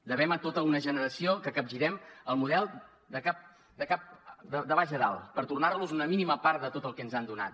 devem a tota una generació que capgirem el model de baix a dalt per tornar los una mínima part de tot el que ens han donat